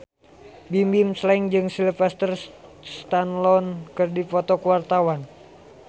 Bimbim Slank jeung Sylvester Stallone keur dipoto ku wartawan